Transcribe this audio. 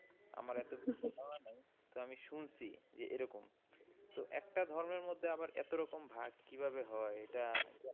আমার এত তো আমি শুনছি যে এরকম। তো একটা ধর্মের মধ্যে আবার এতোরকম ভাগ কি ভাবে হয়? এটা,